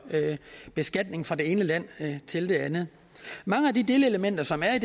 beskatning fra det ene land til det andet mange af de delelementer som er